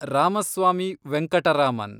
Ramaswamy Venkataraman